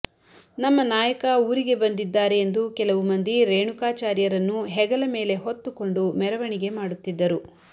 ನಮ್ಮ ನಾಯಕ ಊರಿಗೆ ಬಂದಿದ್ದಾರೆ ಎಂದು ಕೆಲವು ಮಂದಿ ರೇಣುಕಾಚಾರ್ಯರನ್ನು ಹೆಗಲ ಮೇಲೆ ಹೊತ್ತುಕೊಂಡು ಮೆರವಣಿಗೆ ಮಾಡುತ್ತಿದ್ದರು